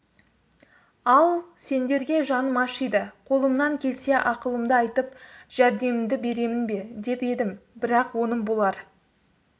ал сендерге жаным ашиды қолымнан келсе ақылымды айтып жәрдемімді беремін бе деп едім бірақ оным болар